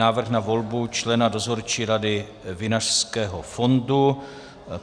Návrh na volbu člena Dozorčí rady Vinařského fondu